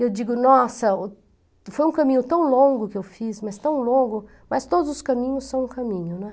Eu digo, nossa, foi um caminho tão longo que eu fiz, mas tão longo, mas todos os caminhos são um caminho, né?